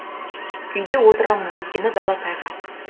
үйде отырамын өйткені дала тайғақ